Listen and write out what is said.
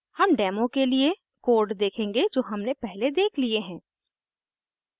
हम डेमो के लिए कोड देखेंगे जो हमने पहले देख लिए हैं